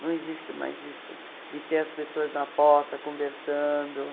Não existe mais isso de ter as pessoas na porta conversando.